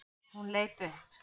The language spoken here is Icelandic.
Hún leit upp.